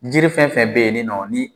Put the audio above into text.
Jiri fɛn fɛn bɛ yen ye nin nɔ ni